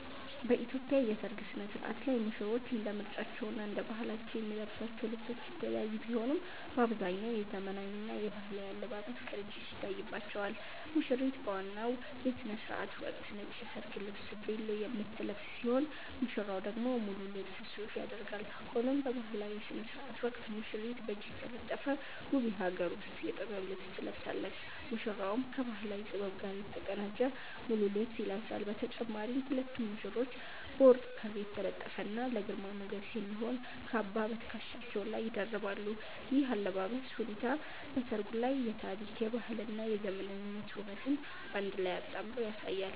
በኢትዮጵያ የሠርግ ሥነ-ሥርዓት ላይ ሙሽሮች እንደ ምርጫቸውና እንደ ባህላቸው የሚለብሷቸው ልብሶች የተለያዩ ቢሆኑም፣ በአብዛኛው የዘመናዊና የባህላዊ አለባበስ ቅንጅት ይታይባቸዋል። ሙሽሪት በዋናው የሥነ-ሥርዓት ወቅት ነጭ የሰርግ ልብስ 'ቬሎ' የምትለብስ ሲሆን፣ ሙሽራው ደግሞ ሙሉ ልብስ 'ሱፍ' ያደርጋል። ሆኖም በባህላዊው ሥነ-ሥርዓት ወቅት ሙሽሪት በእጅ የተጠለፈ ውብ የሀገር ውስጥ የጥበብ ልብስ ትለብሳለች፤ ሙሽራውም ከባህላዊ ጥበብ ጋር የተቀናጀ ሙሉ ልብስ ይለብሳል። በተጨማሪም ሁለቱም ሙሽሮች በወርቅ ክር የተጠለፈና ለግርማ ሞገስ የሚሆን "ካባ" በትከሻቸው ላይ ይደርባሉ። ይህ የአለባበስ ሁኔታ በሠርጉ ላይ የታሪክ፣ የባህልና የዘመናዊነት ውበትን በአንድ ላይ አጣምሮ ያሳያል።